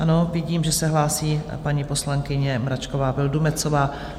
Ano, vidím, že se hlásí paní poslankyně Mračková Vildumetzová.